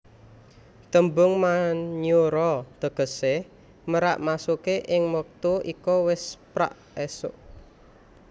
Tembung Manyura tegesé merak maksude ing wektu iku wis prak esuk